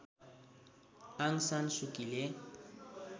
Aung San सुकीले